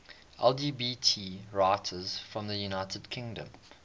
lgbt writers from the united kingdom